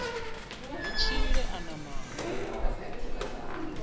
ri tshile a na maano